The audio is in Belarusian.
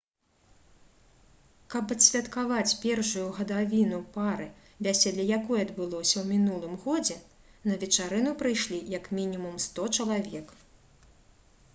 каб адсвяткаваць першую гадавіну пары вяселле якой адбылося ў мінулым годзе на вечарыну прыйшлі як мінімум 100 чалавек